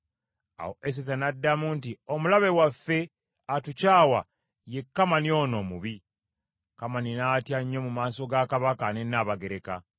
Awo Eseza n’addamu nti, “Omulabe waffe, atukyawa, ye Kamani ono omubi.” Kamani n’atya nnyo mu maaso ga Kabaka ne Nnabagereka.